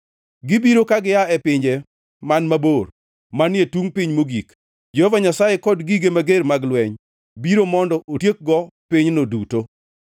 Gibiro ka gia e pinje man mabor, manie tungʼ piny mogik, Jehova Nyasaye kod gige mager mag lweny, biro mondo otiekgo pinyno duto.